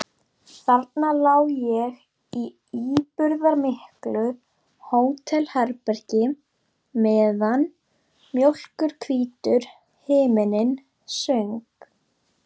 Þarna lá ég í íburðarmiklu hótelherbergi meðan mjólkurhvítur himinninn söng.